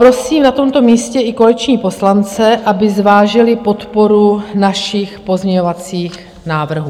Prosím na tomto místě i koaliční poslance, aby zvážili podporu našich pozměňovacích návrhů.